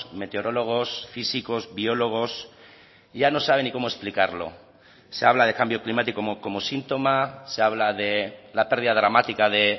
meteorólogos físicos biólogos ya no saben ni cómo explicarlo se habla de cambio climático como síntoma se habla de la pérdida dramática de